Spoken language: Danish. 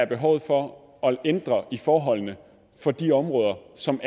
behov for at ændre i forholdene for de områder som